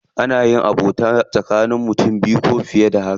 Ana yin abokanta tsakanin mutane biyu ko fiye da haka.